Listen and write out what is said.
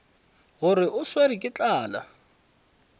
gore o swerwe ke tlala